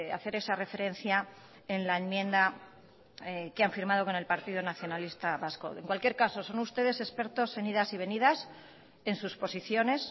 hacer esa referencia en la enmienda que han firmado con el partido nacionalista vasco en cualquier caso son ustedes expertos en idas y venidas en sus posiciones